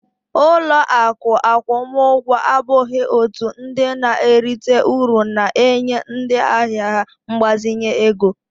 Ụlọ akụ akwụmụgwọ abụghị òtù ndị na-erite uru na-enye ndị ahịa ha mgbazinye ego